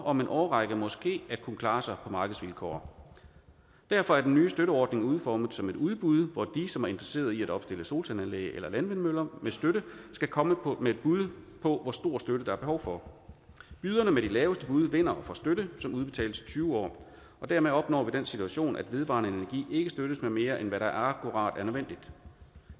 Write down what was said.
om en årrække måske kan klare sig på markedsvilkår derfor er den nye støtteordning udformet som et udbud hvor de som er interesseret i at opstille solcelleanlæg eller landvindmøller med støtte skal komme med et bud på hvor stor støtte der er behov for byderne med de laveste bud vinder og får støtte som udbetales i tyve år og dermed opnår vi den situation at vedvarende energi ikke støttes med mere end hvad der er akkurat nødvendigt